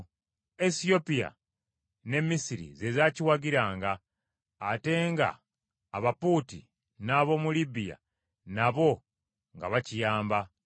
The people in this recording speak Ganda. Esiyopya ne Misiri ze zaakiwagiranga. Ate nga Abapuuti n’ab’omu Libiya nabo nga bakiyamba.